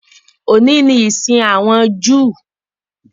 Òní ni ìsìn àwọn Júù